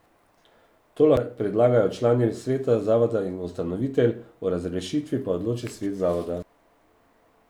To lahko predlagajo člani sveta zavoda in ustanovitelj, o razrešitvi pa odloči svet zavoda.